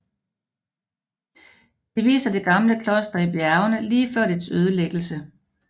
De viser det gamle kloster i bjergene lige før dets ødelæggelse